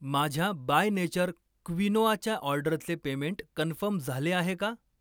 माझ्या by nature क्विनोआच्या ऑर्डरचे पेमेंट कन्फर्म झाले आहे का?